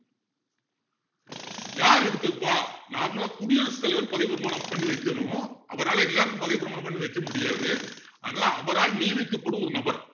யாரு எடுத்து வைப்பா normal ஆ குடியரசுத்தலைவர் பதவிப்பிரமாணம் பண்ணி வைக்கணும் அவரால எல்லாருக்கும் பதவிப்பிரமாணம் பண்ணி வைக்க முடியாது அதனால அவரால நியமிக்கப்படும் ஒரு நபர்